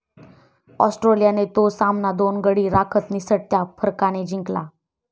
ऑस्ट्रेलियाने तो सामना दोन गडी राखत निसटत्या फरकाने जिंकला.